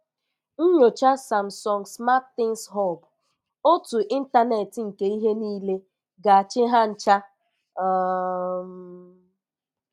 Nyocha Samsung SmartThings Hub: Òtù Ịntánẹ́tị nke Ihe nile ga-achị ha ncha? um